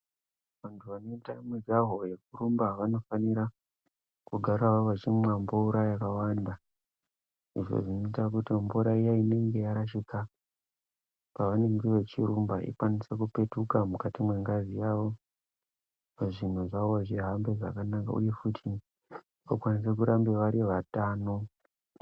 Vantu vanoita mujaho yekurumba vanofanirwa kugarawo vachimwa mvura yakawanda izvo zvinoita kuti mvura inenge yarashika ikwanise kupetuka mukati mwengazi yavo zvinhu zvavo zvihambe zvakanaka uye futi vakwanise kuramba vari vatano.